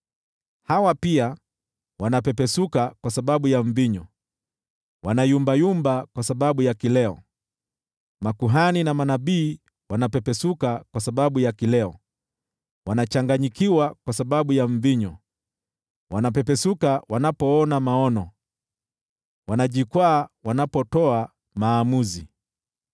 Hawa pia wanapepesuka kwa sababu ya mvinyo, wanayumbayumba kwa sababu ya kileo: Makuhani na manabii wanapepesuka kwa sababu ya kileo, wanachanganyikiwa kwa sababu ya mvinyo; wanapepesuka wanapoona maono, wanajikwaa wanapotoa maamuzi.